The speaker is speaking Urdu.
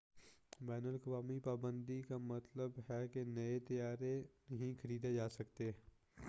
بین الاقوامی پابندی کا مطلب ہے کہ نئے طیارے نہیں خریدے جاسکتے